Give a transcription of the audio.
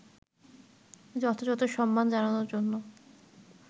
যথাযথ সম্মান জানানোর জন্য